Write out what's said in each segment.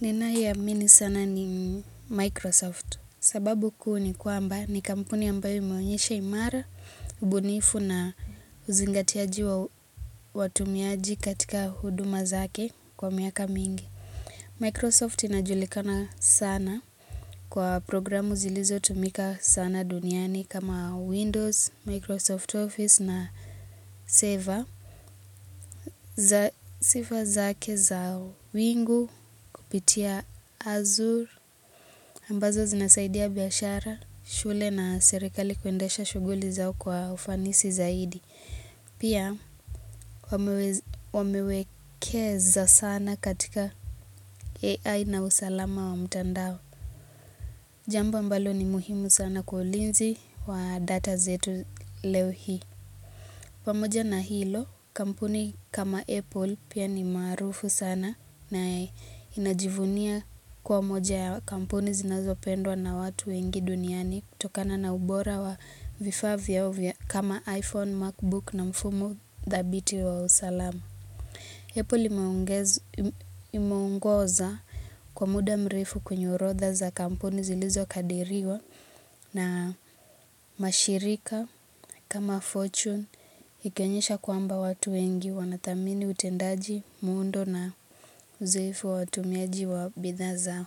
Ninayoamini sana ni Microsoft. Kuu ni kwamba ni kampuni ambayo imeonyesha imara, ubunifu na uzingatiaji wa watumiaji katika huduma zake kwa miaka mingi. Microsoft inajulikana sana kwa programu zilizo tumika sana duniani kama Windows, Microsoft Office na Saver. Sifa zake za wingu kupitia Azure. Ambazo zinasaidia biashara, shule na serikali kuendesha shughuli zao kwa ufanisi zaidi. Pia wamewekeza sana katika AI na usalama wa mtandao. Jambo ambalo ni muhimu sana kwa ulizi wa data zetu leo hii. Pamoja na hilo, kampuni kama Apple pia ni maarufu sana na inajivunia kuwa moja ya kampuni zinazopendwa na watu wengi duniani kutokana na ubora wa vifaa vyao kama iPhone, Macbook na mfumo thabiti wa usalama. Japo limeongoza kwa muda mrefu kwenye urodha za kampuni zilizokadiriwa na mashirika kama fortune ikionyesha kwamba watu wengi wanathamini utendaji muundo na uzoefu wa watumiaji wa bidhaa zao.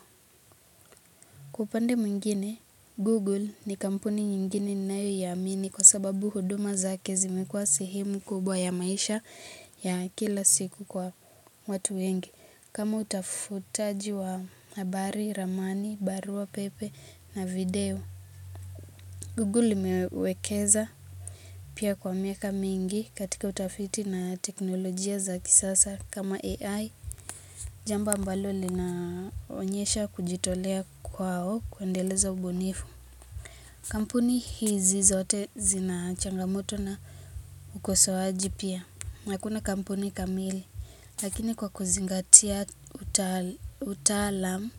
Kwa upande mwingine, Google ni kampuni nyingine ninayoiamini kwa sababu huduma zake zimikuwa sehemu kubwa ya maisha ya kila siku kwa watu wengi. Kama utafutaji wa habari, ramani, barua, pepe na video. Google imewekeza pia kwa miaka mingi katika utafiti na teknolojia za kisasa kama AI. Jambo ambalo linaonyesha kujitolea kwao kuendeleza ubunifu. Kampuni hizi zote zina changamoto na ukosoaji pia. Hakuna kampuni kamili, lakini kwa kuzingatia utaalam,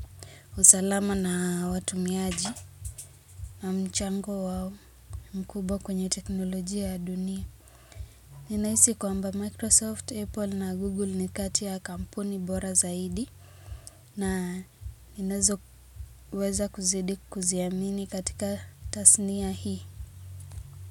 usalama na watumiaji na mchango wao, mkubwa kwenye teknolojia ya dunia. Nahisi kwamba Microsoft, Apple na Google ni kati ya kampuni bora zaidi na ninazoweza kuzidi kuziamini katika tasnia hii.